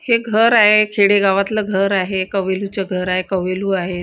हे घर आहे खेडेगावातलं घर आहे कवेलूच घर आहे कवेलू आहेत.